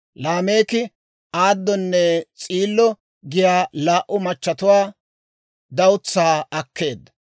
Laameeki Aadonne S'iilo giyaa laa"u machatuwaa dawutsaa akkeedda.